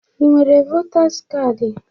Ị nwere votaz kaadị?